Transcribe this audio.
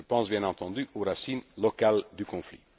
Je pense bien entendu aux racines locales du conflit.